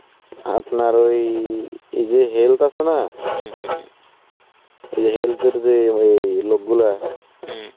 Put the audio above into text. আপনার ওই এই যে health আছে না এই যে Health এর যে ওই লোকগুলা